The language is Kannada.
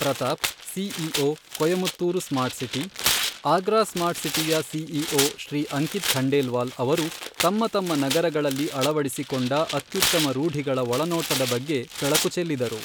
Pratap, CEO, Coimbatore smart city, Agra smart ಸಿಟಿಯ ಸಿಇಓ ಶ್ರೀ ಅಂಕಿತ್ ಖಂಡೇಲ್ವಾಲ್ ಅವರು ತಮ್ಮ ತಮ್ಮ ನಗರಗಳಲ್ಲಿ ಅಳವಡಿಸಿಕೊಂಡ ಅತ್ಯುತ್ತಮ ರೂಢಿಗಳ ಒಳನೋಟದ ಬಗ್ಗೆ ಬೆಳಕು ಚೆಲ್ಲಿದರು.